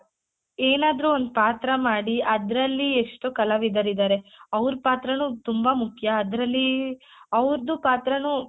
ಏನಾದ್ರೂ ಒಂದ್ ಪಾತ್ರ ಮಾಡಿ ಆದ್ರಲ್ಲಿ ಎಷ್ಟು ಕಲಾವಿದರಿದಾರೆ ಅವ್ರ ಪಾತ್ರನು ತುಂಬಾ ಮುಖ್ಯ ಆದ್ರಲ್ಲಿ ಅವ್ರುದ್ದು ಪಾತ್ರಾನು